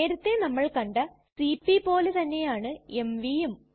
നേരത്തെ നമ്മൾ കണ്ട സിപി പോലെതന്നെയാണ് mvയും